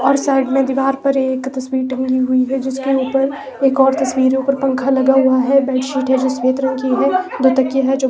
और साइड में दीवार पर एक तस्वीर टंगी हुई है जिसके ऊपर एक और तस्वीर है ऊपर पंखा लगा हुआ है। बेडशीट है जो सफेद रंग की है दो तकिए है जो --